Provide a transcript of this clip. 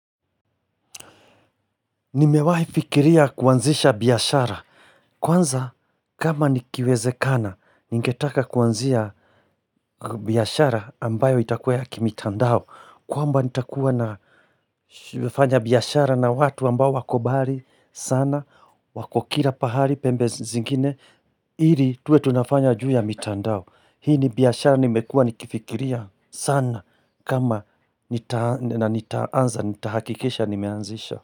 Nimewai fikiria kuanzisha biashara. Kwanza, kama nikiweze kana, ningetaka kuanzia biashara ambayo itakuwa ya kimitandao. Kwamba nitakuwa na fanya biashara na watu ambayo wako mbari sana, wako kira pahari, pembe zingine, ili tuwe tunafanya juu ya mitandao. Hii ni biashara nimekuwa nikifikiria sana kama nitaanza, nitahakikisha, nimeanzisha.